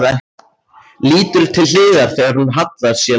Lítur til hliðar þegar hún hallar sér nær.